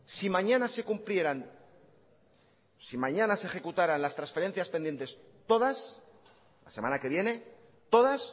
si mañana se cumplieran si mañana se ejecutaran las transferencias pendientes todas la semana que viene todas